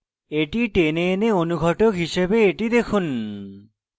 এটি টেনে এনে অনুঘটক হিসাবে এটি দেখুন